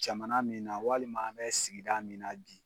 Jamana min na walima an bɛ sigida min na bi.